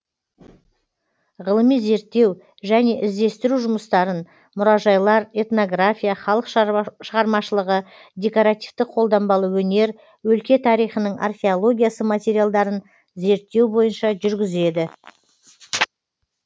ғылыми зерттеу және іздестіру жұмыстарын мұражайлар этнография халық шығармашылығы декоративті қолданбалы өнер өлке тарихының археологиясы материалдарын зерттеу бойынша жүргізеді